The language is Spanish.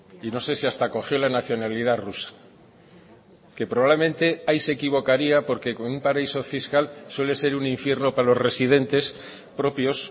y no sé si hasta cogió la nacionalidad rusa que probablemente ahí se equivocaría porque con un paraíso fiscal suele ser un infierno para los residentes propios